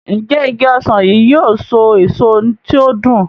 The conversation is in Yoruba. Njé Ìgi ọsán yi yóò so èso tí o dùn?